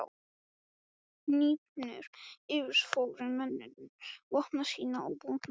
Hnípnir yfirfóru mennirnir vopn sín og búnað.